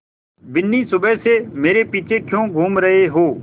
बिन्नी सुबह से मेरे पीछे क्यों घूम रहे हो